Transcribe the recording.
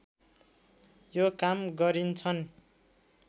यो काम गरिन्छन्